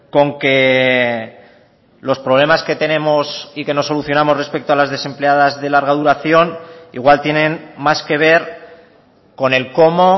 con que los problemas que tenemos y que no solucionamos respecto a las desempleadas de larga duración igual tienen más que ver con el cómo